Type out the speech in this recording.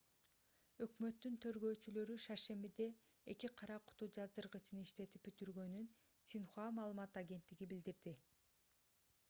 өкмөттүн тергөөчүлөрү шаршембиде эки кара куту жаздыргычын иштетип бүтүргөнүн синьхуа маалымат агенттиги билдирди